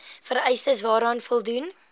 vereistes waaraan voldoen